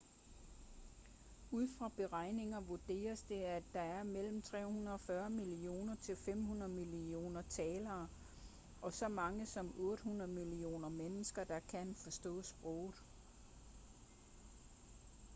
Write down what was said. ud fra beregninger vurderes det at der er mellem 340 millioner til 500 millioner talere og så mange som 800 millioner mennesker der kan forstå sproget